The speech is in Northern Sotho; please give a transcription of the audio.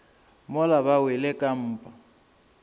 mola ba wele ka mpa